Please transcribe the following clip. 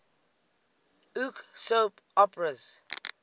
uk soap operas